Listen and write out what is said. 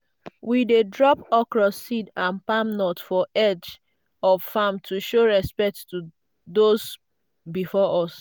we dey drop okro seed and palm nut for edge of farm to show respect to those before us.